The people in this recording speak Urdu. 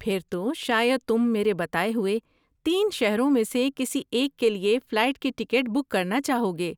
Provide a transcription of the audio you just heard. پھر تو شاید تم میرے بتائے ہوئے تین شہروں میں سے کسی ایک کے لیے فلائٹ کی ٹکٹ بک کرنا چاہو گے۔